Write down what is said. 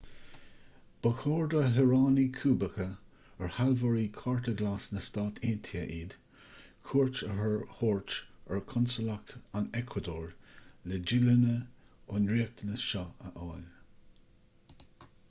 ba chóir do shaoránaigh cúbacha ar sealbhóirí chárta glas na stát aontaithe iad cuairt a thabhairt ar chonsalacht an eacuadór le díolúine ón riachtanas seo a fháil